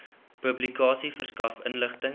publikasie verskaf inligting